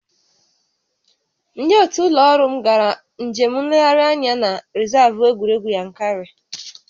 Ndị otu ụlọ ọrụ m gara njem nlegharị anya na rịzaavụ egwuregwu Yankari